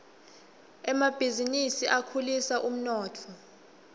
emabhizinisi akhulisa umnotfo